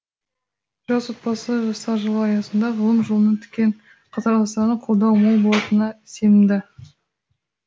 жас отбасы жастар жылы аясында ғылым жолына түкен қатарластарына қолдау мол болатынына сенімді